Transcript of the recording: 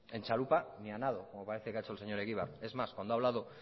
en txalupa ni a nado como parece que ha hecho el señor egibar es más cuando ha hablado